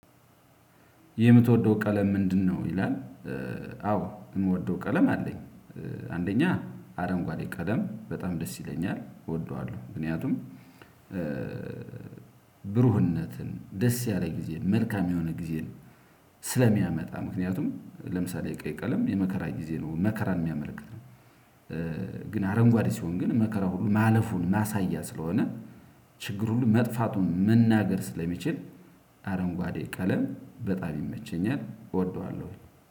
የምትወደው ቀለም ምንድነው ይላል አዎ የምወደው ቀለም አለኝ። አንደኛ አረንጓዴ ቀለም በጣም ደስ ይለኛል እወደዋለሁ ምክንያቱም ብሩህነትን ደስ ያለ ጊዜ መልካም የሆነ ጊዜን ስለሚያመጣ ምክንያቱም ለምሳሌ የቀይ ቀለም የመከራ ጊዜ ነው መከራን የሚያመለክት ነው ግን አረንጓዴ ሲሆን ግን መከራ ሁሉ ማለፉን ማሳያ ስለሆነ ችግር ሁሉ መጥፋቱን መናገር ስለሚችል አረንጓዴ ቀለም በጣም ይመቸኛል እወደዋለሁ።